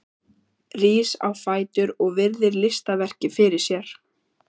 Rís á fætur og virðir listaverkið fyrir sér.